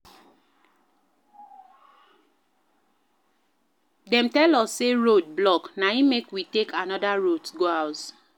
Dem tell us sey road block, na im make we take anoda route go house.